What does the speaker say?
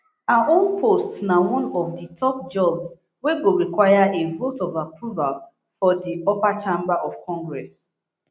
her own post na one of di top jobs wey go require a vote of approval for di upper chamber of congress